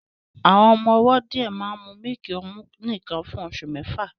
Àwọn ọmọ ọwọ́ díẹ̀ máa ń mu mílìkì ọmú nìkan fún oṣù mẹ́fà